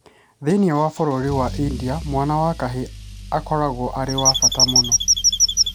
Thĩinĩ wa bũrũri wa India mwana wa kahĩĩ akoragwo arĩ wa bata mũno.